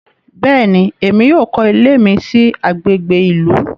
Béèni, Èmí yóò kọ ilé mi sí agbègbè ìlú